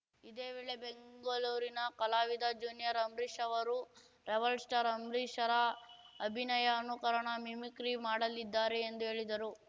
ಇದೇ ವೇಳೆ ಬೆಂಗಳೂರಿನ ಕಲಾವಿದ ಜೂನಿಯರ್‌ ಅಂಬರೀಶ್‌ ಅವರು ರೆಬಲ್‌ಸ್ಟಾರ್‌ ಅಂಬರೀಶ್‌ರ ಅಭಿನಯ ಅನುಕರಣ ಮಿಮಿಕ್ರಿ ಮಾಡಲಿದ್ದಾರೆ ಎಂದು ಹೇಳಿದರು